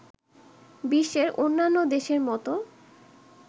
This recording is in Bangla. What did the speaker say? বিশ্বের অন্যান্য দেশের মতো